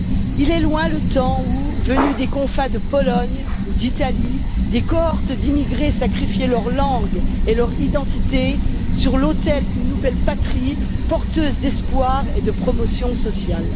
Il est loin le temps où venus des confins de Pologne ou d'Italie, des cohortes d'immigrés sacrifiaient leur langue et leur identité sur l'autel d'une nouvelle patrie porteuse d'espoir et de promotion sociale.